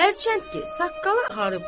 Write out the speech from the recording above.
Hərçənd ki, saqqalı ağarıbdır.